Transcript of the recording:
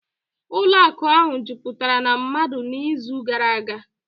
ụlọ akụ ahụ jupụtara na mmadụ n'izu gara aga